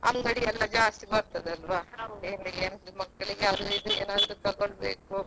ಅಂಗಡಿಯಲ್ಲ ಜಾಸ್ತಿ ಬರ್ತದಲ್ವಾ ಮಕ್ಕಳಿಗೆ ಏನಾದ್ರೂ ಅದು ಇದು ತಕೊಳ್ಬೇಕು.